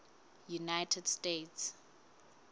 united states